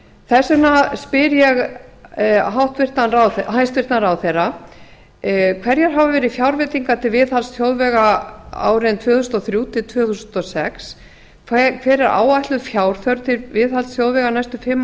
þess vegna spyr ég hæstvirtan ráðherra fyrstu hverjar hafa fjárveitingar til viðhalds þjóðvega verið árin tvö þúsund og þrjú til tvö þúsund og sex önnur hver er áætluð fjárþörf til viðhalds þjóðvega næstu fimm